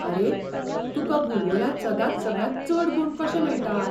आरे, तुका भूगोलांत सदांच सगळ्यांत चड गूण कशे मेळटात?